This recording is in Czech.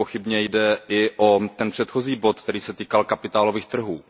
Nepochybně jde i o ten předchozí bod, který se týkal kapitálových trhů.